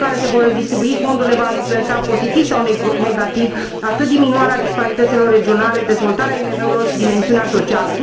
Modul în care se vor redistribui fondurile va influența pozitiv sau negativ atât diminuarea disparităților regionale, dezvoltarea IMM urilor, cât și dimensiunea socială.